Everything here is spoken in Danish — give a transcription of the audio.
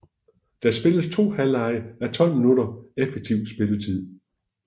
Der spilles 2 halvlege á 12 minutter effektiv spilletid